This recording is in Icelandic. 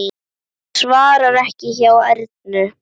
Það svarar ekki hjá Ernu.